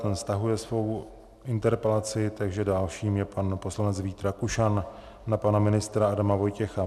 Ten stahuje svou interpelaci, takže dalším je pan poslanec Vít Rakušan na pana ministra Adama Vojtěcha.